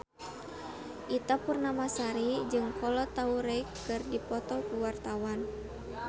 Ita Purnamasari jeung Kolo Taure keur dipoto ku wartawan